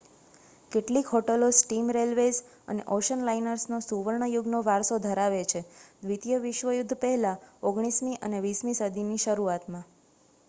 કેટલીક હોટલો steam railways અને ઓશન લાઇનર્સનો સુવર્ણયુગનો વારસો ધરાવે છે દ્વિતીય વિશ્વયુદ્ધ પહેલાં 19 મી અને 20 મી સદીની શરૂઆતમાં